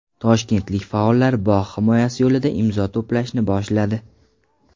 Toshkentlik faollar bog‘ himoyasi yo‘lida imzo to‘plashni boshladi .